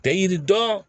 Tɛ yiri dɔn